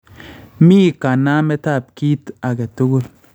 Mi kanaametab kiit aketukul